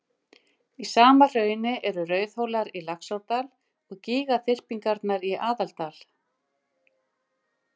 Í sama hrauni eru og Rauðhólar í Laxárdal og gígaþyrpingarnar í Aðaldal.